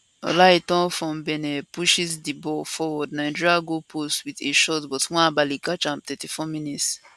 olaitan from benin pushes di ball forward nigeria goalpost wit a shot but nwabali catch am 34mins